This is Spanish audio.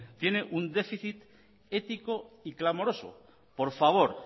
tiene un déficit ético y clamoroso por favor